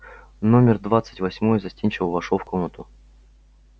номер двадцать восьмой застенчиво вошёл в комнату